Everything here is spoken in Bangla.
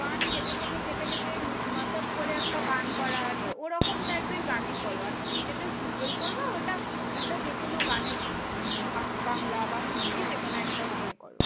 গান কেটে কেটে কেটে কেটে mashup করে একটা গান করা আছে। ওরকম type এর গানে করো। আর তুমি যেটা single করবে, ওটা একটা যেকোনো গানে উম বাংলা বা হিন্দি যেকোনো একটা গানে করো।